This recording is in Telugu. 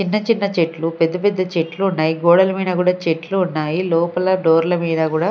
చిన్న చిన్న చెట్లు పెద్ద పెద్ద చెట్లు ఉన్నాయి గోడల మీన కూడా చెట్లు ఉన్నాయి లోపల డోర్ల మీద కూడా--